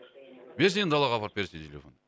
берші енді далаға апарып